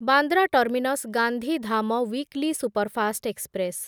Bandra terminus Gandhidham weekly superfast express